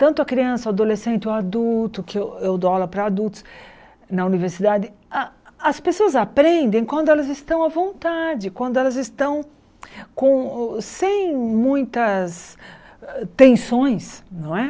tanto a criança, o adolescente, o adulto, que eu eu dou aula para adultos na universidade, a as pessoas aprendem quando elas estão à vontade, quando elas estão com sem muitas tensões. Não é